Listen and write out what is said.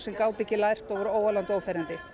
gátu ekki lært og voru óalandi og óferjandi